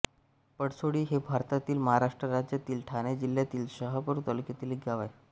पळसोळी हे भारतातील महाराष्ट्र राज्यातील ठाणे जिल्ह्यातील शहापूर तालुक्यातील एक गाव आहे